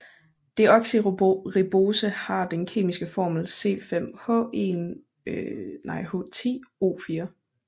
Deoxyribose har den kemiske formel C5H10O4